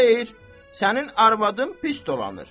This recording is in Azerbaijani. Xeyr, sənin arvadın pis dolanır.